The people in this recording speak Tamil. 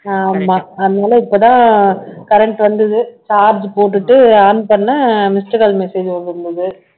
ஆமா அதனால இப்பதான் current வந்தது charge போட்டுட்டு on பண்ணேன் missed call message வந்திருக்குது